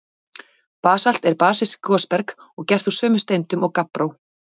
Basalt er basískt gosberg og gert úr sömu steindum og gabbró.